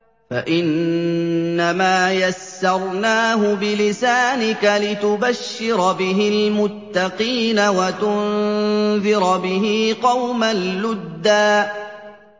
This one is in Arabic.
فَإِنَّمَا يَسَّرْنَاهُ بِلِسَانِكَ لِتُبَشِّرَ بِهِ الْمُتَّقِينَ وَتُنذِرَ بِهِ قَوْمًا لُّدًّا